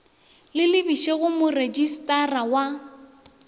le lebišwe go moretšistara wa